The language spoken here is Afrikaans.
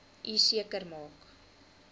u seker maak